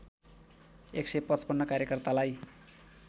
१५५ कार्यकर्तालाई